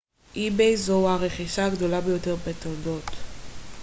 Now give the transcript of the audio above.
זו הרכישה הגדולה ביותר בתולדות ebay